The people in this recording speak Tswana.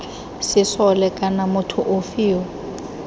sesole kana motho ofe yo